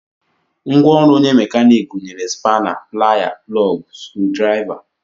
Ngwaọrụ onye mekaniiki gụnyere spana, Playa, plọg, scrudraịva